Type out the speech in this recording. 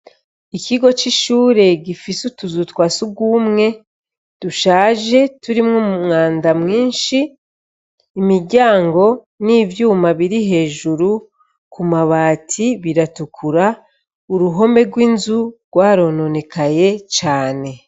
Ikigo ci shure gifise utuzu twa sugumwe dushaje turimwo umwanda mwishi imiryango n'ivyuma biri hejuru ku mabati biratukura uruhome rw'inzu rwa rononekaye cane.